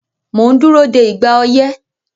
Mò ń dúró de "ìgbà oyẹ́"